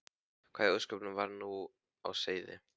Hvað í ósköpunum var nú á seyði?